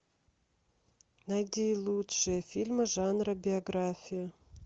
найди лучшие фильмы жанра биография